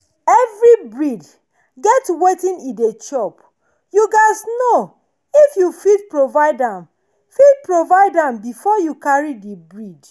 every breed get wetin e dey chop—you gats know if you fit provide am fit provide am before you carry the breed.